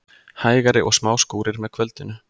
Hægari og smá skúrir með kvöldinu